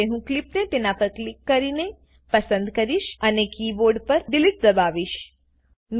હવે હું ક્લીપને તેનાં પર ક્લિક કરીને પસંદ કરીશ અને કીબોર્ડ પર ડિલીટ દબાવીશ